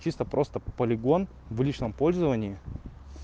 чисто просто полигон в личном пользовании